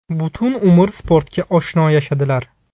Butun umr sportga oshno yashadilar.